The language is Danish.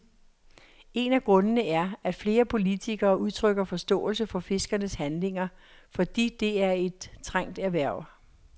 En af grundene er, at flere politikere udtrykker forståelse for fiskernes handlinger, fordi det er et trængt erhverv.